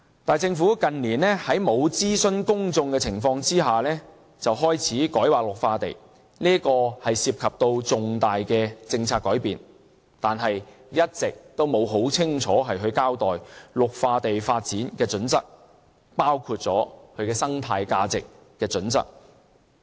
但是，政府近年在沒有諮詢公眾的情況下開始改劃綠化地，這涉及重大的政策改變，而政府一直也沒有很清楚交代綠化地發展的準則，包括生態價值的準則。